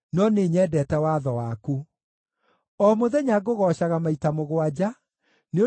O mũthenya ngũgoocaga maita mũgwanja nĩ ũndũ wa mawatho maku ma ũthingu.